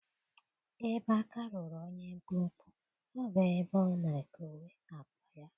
Ebe aka ruru onye mkpụmkpụ, ọ bụ ebe ọ na-ekowe akpa ya.